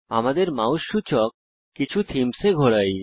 আমাদের মাউস সূচক কিছু থীমসে ঘোরাই